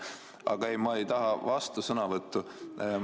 Aga ei, ma ei taha vastusõnavõttu.